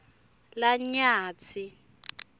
lanyatsi